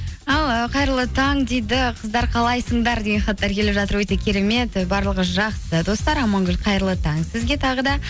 ал ы қайырлы таң дейді қыздар қалайсыңдар деген хаттар келіп жатыр өте керемет барлығы жақсы достар амангүл қайырлы таң сізге тағы да